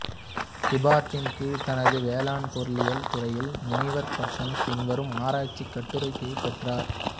ஹிபர்ட்டின் கீழ் தனது வேளாண் பொருளியல் துறையில் முனைவர் பட்டம் பின்வரும் ஆராய்ச்சி கட்டுரைக்காகப் பெற்றார்